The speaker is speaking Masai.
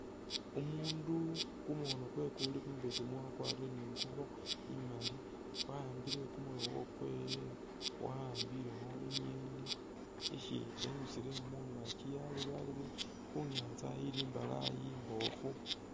Umuundu kumukhono kwe kuli kumubesemu wakwarire ni ngubo imali waambile kumurobo kwewe wa'ambilekho i'ngeni ishi enyusile mungakyi yelebalebile khu nyaantsa ili imbalaayi imboofu.